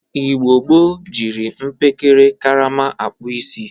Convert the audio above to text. Igbo gboo jiri mpekere karama akpụ isi.